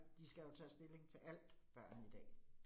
De skal jo tage stilling til alt, børn i dag